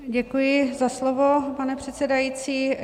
Děkuji za slovo, pane předsedající.